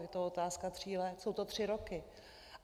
Je to otázka tří let, jsou to tři roky.